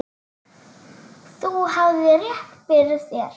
Þú hafðir rétt fyrir þér.